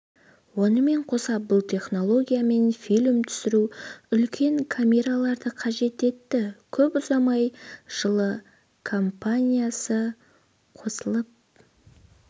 онымен қоса бұл технологиямен фильм түсіру үлкен камераларды қажет етті көп ұзамай жылы компаниясы қосылып